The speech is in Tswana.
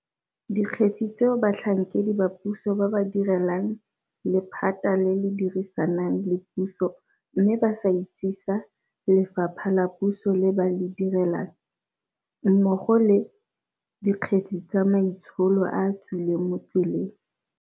Dikgetse tseo batlhankedi ba puso ba ba direlang lephata le le dirisanang le puso mme ba sa itsesa lefapha la puso le ba le direlang, mmogo le, Dikgetse tsa maitsholo a a tswileng mo tseleng.